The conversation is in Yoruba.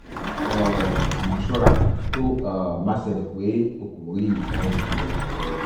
um àmọ́ ṣọ́ra tó um bá ṣẹlẹ̀ pé o kò rí nǹkan oṣù rẹ um